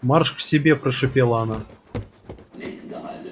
марш к себе прошипела она